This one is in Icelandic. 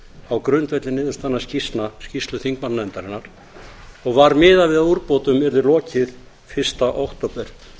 á grundvelli niðurstaðna skýrslu þingmannanefndarinnar og var miðað við að úrbótum yrði lokið fyrsta október